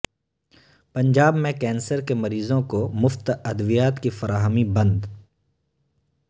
پنجاب میں کینسر کے مریضوں کو مفت ادویات کی فراہمی بند